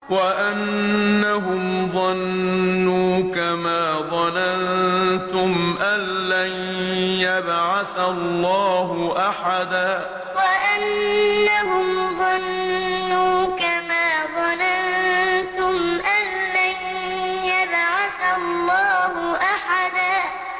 وَأَنَّهُمْ ظَنُّوا كَمَا ظَنَنتُمْ أَن لَّن يَبْعَثَ اللَّهُ أَحَدًا وَأَنَّهُمْ ظَنُّوا كَمَا ظَنَنتُمْ أَن لَّن يَبْعَثَ اللَّهُ أَحَدًا